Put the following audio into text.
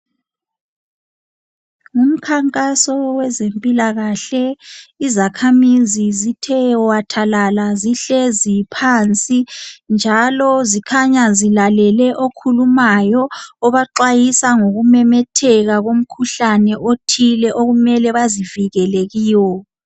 Ngumkhankaso wezempilakahle izakhamizi zithe wathalala zihlezi phansi njalo zikhanya zilalele okukhulumayo obaxwayisa ngokumemetheka komkhuhlane othile okumele bazivikele kiwo.